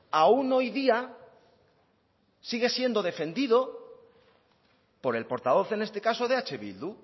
aún hoy día sigue siendo defendido por el portavoz en este caso de eh bildu